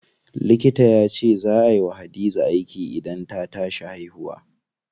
Likita yace zaa ay wa Hadiza aiki idan ta tashi haihuwa.